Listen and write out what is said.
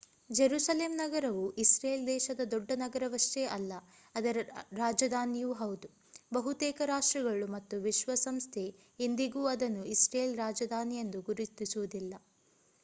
Jerusalem ನಗರವು Israel ದೇಶದ ದೊಡ್ಡ ನಗರವಷ್ಟೇ ಅಲ್ಲ ಅದರ ರಾಜಧಾನಿಯೂ ಹೌದು. ಬಹುತೇಕ ರಾಷ್ಟ್ರಗಳು ಮತ್ತು ವಿಶ್ವಸಂಸ್ಥೆ ಸಂಯುಕ್ತ ರಾಷ್ಟ್ರ ಸಂಸ್ಥೆ ಇಂದಿಗೂ ಅದನ್ನು ಇಸ್ರೇಲ್ ರಾಜಧಾನಿಯೆಂದು ಗುರುತಿಸುವುದಿಲ್ಲ